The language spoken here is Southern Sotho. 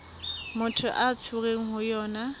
motho a tshwerweng ho yona